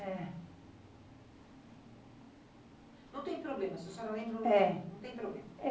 É. Não tem problema, se a senhora não lembra, não tem... É. Não tem problema.